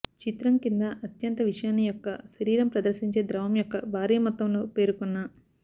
చిత్రం కింద అత్యంత విషాన్ని యొక్క శరీరం ప్రదర్శించే ద్రవం యొక్క భారీ మొత్తంలో పేరుకున్న